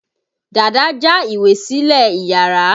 Dàda já ìwé sílẹ̀ iyàrá.